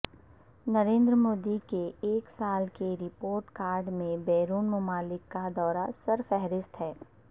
نریندر مودی کے ایک سال کے رپورٹ کارڈ میں بیرون ممالک کا دورہ سرفہرست ہے